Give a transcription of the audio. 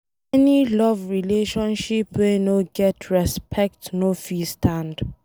Any love relationship wey no get respect, no go fit stand.